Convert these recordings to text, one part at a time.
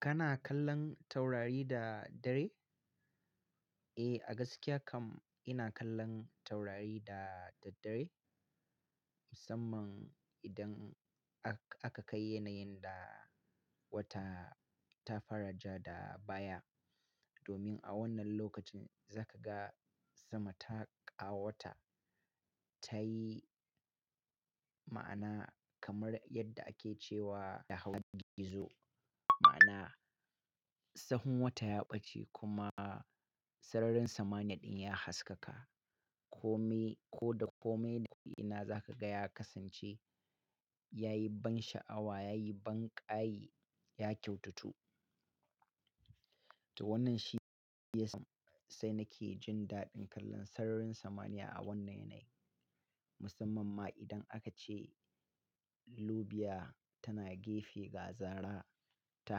Kana kallon taurari da dare? Eh, a gaskiya kam ina kallon taurari da daddare. Musamman idan a-aka kai yanayin da wata ta fara ja da baya. Domin a wannan lokacin za ka ga sama ta ƙawata. Ta yi ma'ana kamar yadda ake cewa da hawan gizo. Ma'ana, sahun wata ya ɓace kuma sararin samaniya ɗin ya haskaka. Kome-- ko da kome da ko ina za ka ga ya kasance, ya yi ban sha'awa, ya yi ban ƙayi, ya kyautatu. To wannan shi ya sa sai nake jin daɗin kallon sararin samaniya a wannan yanayi. Musamman ma idan aka ce lubiya tana gefe ga zara ta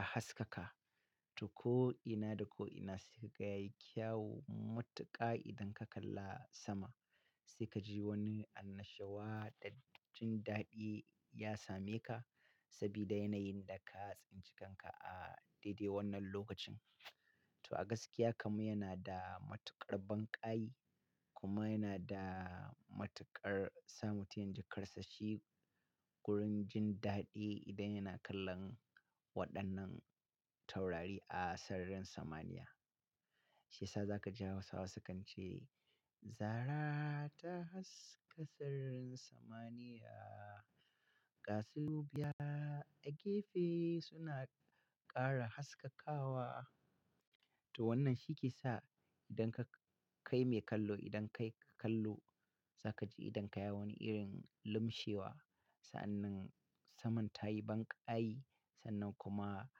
haskaka. To ko ina da ko ina sai ka ga yayi kyawu matuƙa idan ka kalla sama. Sai ka ji wani annashawa, da jin daɗi ya same ka sabida yanayin da ka tsinci kanka a daidai wannan lokacin. To a gaskiya kam yana da matuƙar ban ƙayi kuma yana da matuƙar sa mutum ya ji karsashi gurin jin daɗi idan yana kallon waɗannan taurari a sararin samaniya. Shi ya sa za ka ji Hausawa sukan ce, "Zara ta haska sararin samaniya, ƙasu lubiya a gefe suna ƙara haskakawa." To wannan shi ke sa idan ka kai mai kallo, idan kai ka kallo za ka ji idan ka yi wani irin lumshewa. Sa'annan saman ta yi ban ƙayi, sannan kuma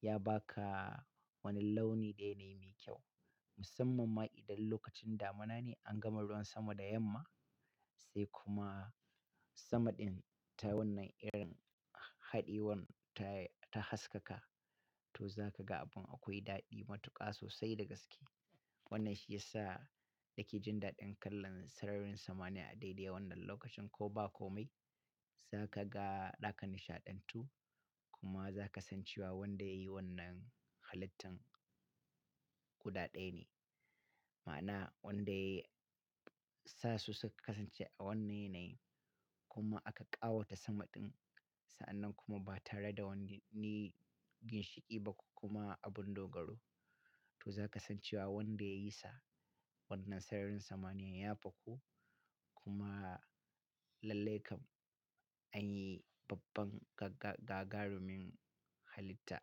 ya ba ka wani launi ɗaya ne mai kyau. Musamman ma idan lokacin damuna ne an gama ruwan sama da yamma. Sai kuma sama ɗin ta wannan irin haɗewar ta yi, ta haskaka. To za ka ga abin akwai daɗi matuƙa sosai da gaske. Wannan shi ya sa yake jin daɗin kallon sararin samaniya a daidai wannan lokacin ko ba kome. Za ka ga ɗaka nishaɗantu kuma za ka san cewa wanda ya yi wannan halittan guda ɗaya ne. Ma'ana wanda ya sa su su kasance a wannan yanayi kuma aka ƙawata sama ɗin. Sa'annan kuma ba tare da wani ginshiƙi ba ko kuma abin dogaro. To za ka san cewa wanda ya yi sa wannan sararin samaniya ya fako. Kuma lallai kam anyi babban gaga-gagarumin halitta.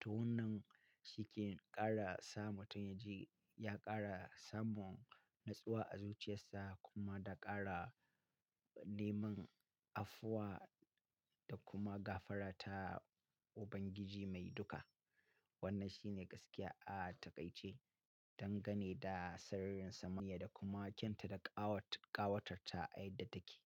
To wannan shi ke ƙara sa mutum ya ji, ya ƙara samun natsuwa a zuciyarsa kuma da ƙara neman afuwa da kuma gafara ta Ubangiji Mai duka. Wannan shi ne gaskiya a taƙaice. Dangane da sararin samaniya da kuma kyauta da ƙawat-ƙawatarta a yadda take.